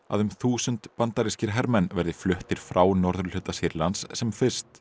að um þúsund bandarískir hermenn verði fluttir frá norðurhluta Sýrlands sem fyrst